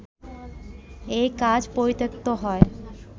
এই কাজ পরিত্যক্ত হয়